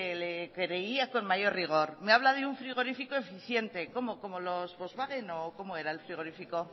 le creería con mayor rigor me habla de un frigorífico eficiente cómo como los volkswagen o cómo era el frigorífico